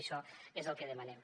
això és el que demanem